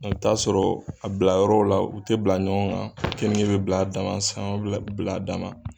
E bi t'a sɔrɔ a bila yɔrɔw la u tɛ bila ɲɔgɔn kan keninke be bila a daman sanŋɔn be bila a daman